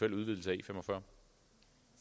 en udvidelse af e45